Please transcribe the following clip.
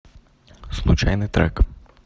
случайный трек